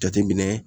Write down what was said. Jateminɛ